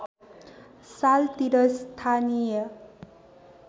साल तिर स्थानीय